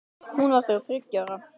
Hún var þá þriggja ára.